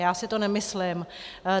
Já si to nemyslím.